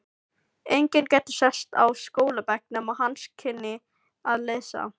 Enginn gæti sest á skólabekk nema hann kynni að lesa.